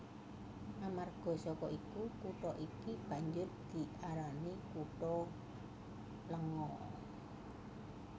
Amarga saka iku kutha iki banjur diarani kutha lenga